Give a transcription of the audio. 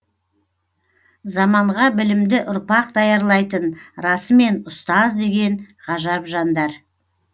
заманға білімді ұрпақ даярлайтын расымен ұстаз деген ғажап жандар